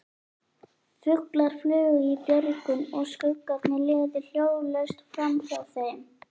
Fuglar flugu í björgunum og skuggarnir liðu hljóðlaust framhjá þeim.